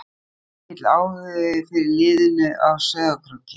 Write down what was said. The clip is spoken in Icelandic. Er mikill áhugi fyrir liðinu á Sauðárkróki?